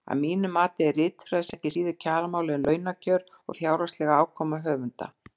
Að mínu mati er ritfrelsi ekki síður kjaramál en launakjör og fjárhagsleg afkoma höfunda.